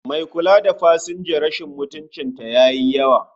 Mai kula da pasanja rashin mutuncin ta yayi yawa